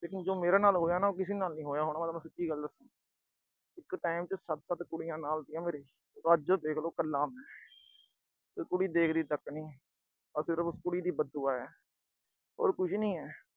ਲੇਕਿਨ ਜੋ ਮੇਰੇ ਨਾਲ ਹੋਇਆ ਨਾ, ਉਹ ਕਿਸੀ ਨਾਲ ਨੀ ਹੋਇਆ ਹੋਣਾ। ਮੈਂ ਤੋਨੂੰ ਸਿੱਧੀ ਗੱਲ ਦੱਸਾ। ਇੱਕ time ਤੇ ਸੱਤ-ਸੱਤ ਕੁੜੀਆਂ ਨਾਲ ਸੀਗੀਆਂ ਮੇਰੇ। ਅੱਜ ਦੇਖ ਲੋ ਕੱਲਾ ਮੈਂ। ਤੇ ਕੁੜੀ ਦੇਖਦੀ ਤੱਕ ਨੀ। ਇਹ ਉਸ ਕੁੜੀ ਦੀ ਬਦਦੁਆ ਆ। ਹੋਰ ਕੁਛ ਨੀ ਆ।